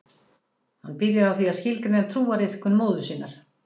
Hann byrjar á því að skilgreina trúariðkun móður sinnar